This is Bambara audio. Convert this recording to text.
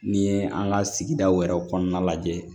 N'i ye an ka sigidaw yɛrɛ kɔnɔna lajɛ